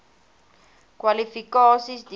kwalifikasies deursoek